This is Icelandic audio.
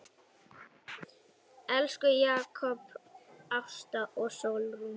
Elsku Jakob, Ásta og Sólrún.